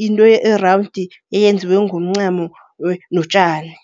Yinto erawundi, eyenziwe ngomncamo notjani.